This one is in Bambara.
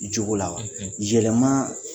Jogo la jateminɛ